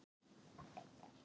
Auðvitað vissi þetta enginn.